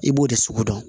I b'o de sugu dɔn